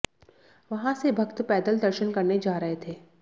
वहां से भक्त पैदल दर्शन करने जा रहे थे